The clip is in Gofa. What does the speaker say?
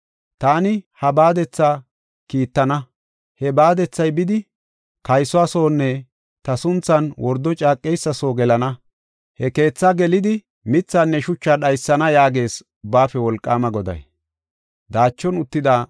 ‘Taani ha baadetha kiittana; he baadethay bidi, kaysuwa soonne ta sunthan wordo caaqeysa soo gelana. He keetha gelidi mithaanne shuchaa dhaysana’ ” yaages Ubbaafe Wolqaama Goday.